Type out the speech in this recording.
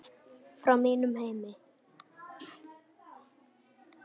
Frá mínum heimi.